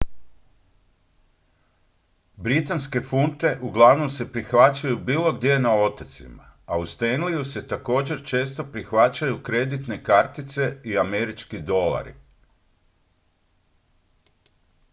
britanske funte uglavnom se prihvaćaju bilo gdje na otocima a u stanleyju se također često prihvaćaju kreditne kartice i američki dolari